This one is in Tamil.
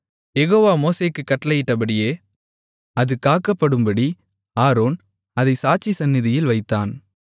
யெகோவா மோசேக்குக் கட்டளையிட்டபடியே அது காக்கப்படும்படி ஆரோன் அதைச் சாட்சி சந்நிதியில் வைத்தான்